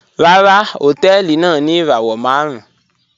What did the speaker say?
Ràrà, họ̀tẹ̀ẹlì náà ni irawọ màrùn